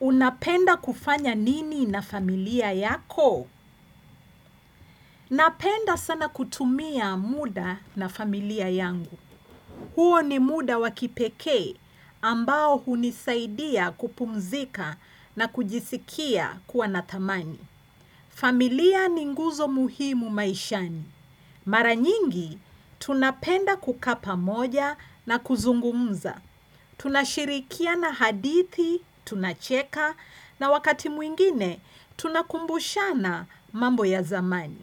Unapenda kufanya nini na familia yako? Napenda sana kutumia muda na familia yangu. Huo ni muda wa kipekee ambao hunisaidia kupumzika na kujisikia kuwa na thamani. Familia ni nguzo muhimu maishani. Mara nyingi, tunapenda kukaa pamoja na kuzungumza. Tunashirikiana hadithi, tunacheka, na wakati mwingine tunakumbushana mambo ya zamani.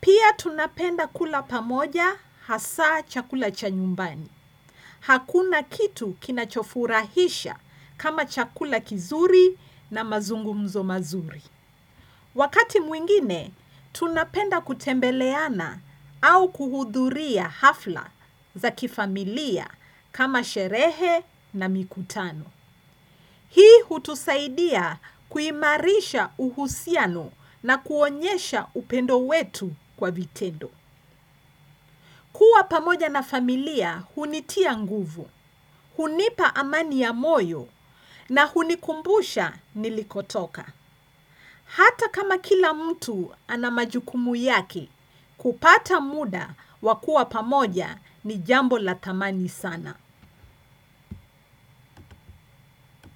Pia tunapenda kula pamoja hasa chakula cha nyumbani. Hakuna kitu kinachofurahisha kama chakula kizuri na mazungumzo mazuri. Wakati mwingine tunapenda kutembeleana au kuhudhuria hafla za kifamilia kama sherehe na mikutano. Hii hutusaidia kuimarisha uhusiano na kuonyesha upendo wetu kwa vitendo. Kua pamoja na familia hunitia nguvu, hunipa amani ya moyo na hunikumbusha nilikotoka. Hata kama kila mtu ana majukumu yake, kupata muda wakuwa pamoja ni jambo la thamani sana.